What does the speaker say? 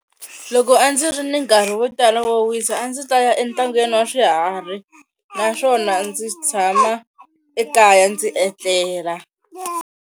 Loko a ndzi ri ni nkarhi wo tala wo wisa a ndzi ta ya entangeni wa swiharhi naswona ndzi tshama ekaya ndzi etlela.